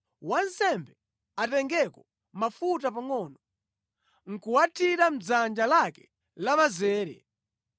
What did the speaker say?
Wansembe atengeko mafuta pangʼono, nʼkuwathira mʼdzanja lake lamanzere,